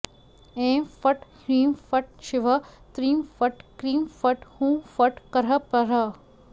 ऐं फट् ह्रीं फट् शिवः त्रीं फट् क्रीं फट् हूं फट् करः परः